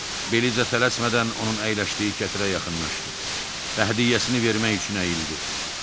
Belizə tələsmədən onun əyləşdiyi kətirə yaxınlaşdı və hədiyyəsini vermək üçün əyildi.